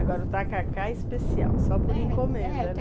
Agora o tacacá é especial, só por encomenda, é.